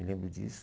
Me lembro disso.